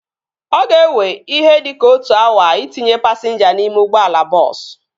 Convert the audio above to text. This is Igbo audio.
Ọ ga-ewe ihe dịka otu awa itinye pasinja n'ime ụgbọala bọọsu